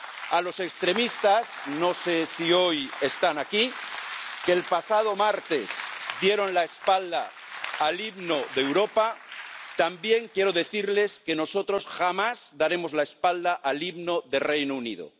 A los extremistas ―no sé si hoy están aquí― que el pasado martes dieron la espalda al himno de Europa también quiero decirles que nosotros jamás daremos la espalda al himno del Reino Unido.